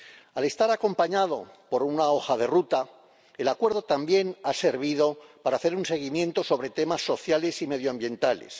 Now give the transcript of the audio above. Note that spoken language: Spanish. Al estar acompañado por una hoja de ruta, el Acuerdo también ha servido para hacer un seguimiento sobre temas sociales y medioambientales.